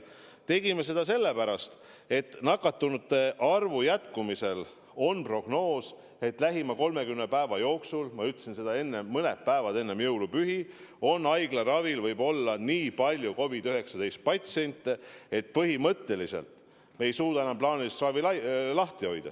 Me tegime seda sellepärast, et nakatunute arvu jätkuva tõusu korral jõuame lähima 30 päeva jooksul ehk nagu ma enne ütlesin, päevadeks enne jõulupühi sinnamaale, et haiglaravil võib olla nii palju COVID-19 patsiente, et põhimõtteliselt me ei suuda enam plaanilist ravi lahti hoida.